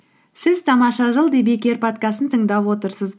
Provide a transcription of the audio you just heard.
сіз тамаша жыл подкастын тыңдап отырсыз